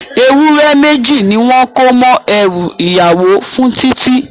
Ewúré méjì ni wọ́n kó mọ́ ẹrú ìyàwó fún Titi